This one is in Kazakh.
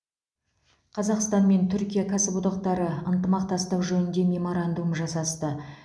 қазақстан мен түркия кәсіподақтары ынтымақтастық жөнінде меморандум жасасты